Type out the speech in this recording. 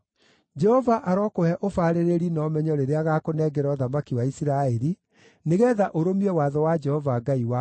Jehova arokũhe ũbaarĩrĩri na ũmenyo rĩrĩa agaakũnengera ũthamaki wa Isiraeli, nĩgeetha ũrũmie watho wa Jehova Ngai waku.